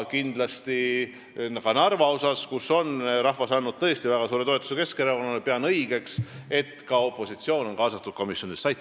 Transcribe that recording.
Kindlasti pean õigeks, et Narvas, kus rahvas on andnud tõesti väga suure toetuse Keskerakonnale, oleks ka opositsioon kaasatud komisjonidesse.